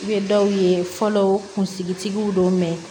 I bɛ dɔw ye fɔlɔ kunsigi tigiw don mɛ